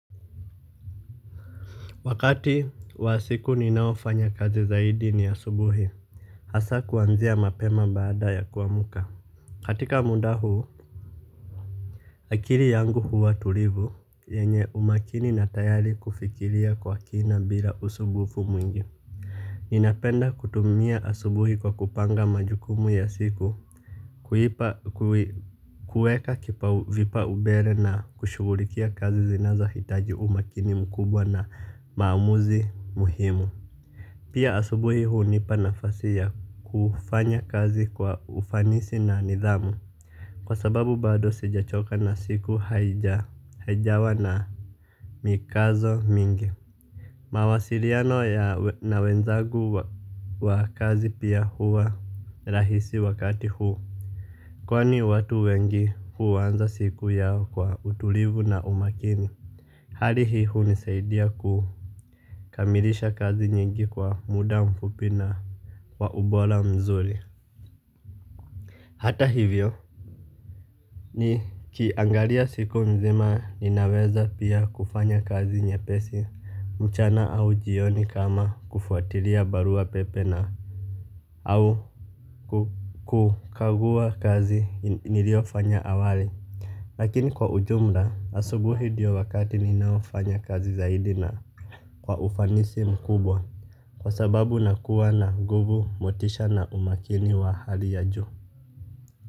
Wakati wa siku ninayofanya kazi zaidi ni asubuhi. Hasaa kuanzia mapema baada ya kuamka. Katika muda huu akiri yangu huwa tulivu yenye umakini na tayari kufikiria kwa kina bila usubufu mwingi. Ninapenda kutumia asubuhi kwa kupanga majukumu ya siku. Kuweka vipaubere na kushughulikia kazi zinazohitaji umakini mkubwa na maamuzi muhimu. Pia asubuhi hunipa nafasi ya kufanya kazi kwa ufanisi na nidhamu. Kwa sababu bado sijachoka na siku haijawa na mikazo mingi. Mawasiliano na wenzagu wa kazi pia huwa rahisi wakati huu. Kwani watu wengi huanza siku yao kwa utulivu na umakini. Hali hii hunisaidia kukamilisha kazi nyingi kwa muda mfupi na wa ubola mzuri. Hata hivyo nikiangalia siku mzima ninaweza pia kufanya kazi nyepesi mchana au jioni kama kufuatilia barua pepe na au kukagua kazi niliofanya awali. Lakini kwa ujumla asubuhi diyo wakati ninaofanya kazi zaidi na kwa ufanisi mkubwa. Kwa sababu nakuwa na guvu motisha na umakini wa hali ya ju.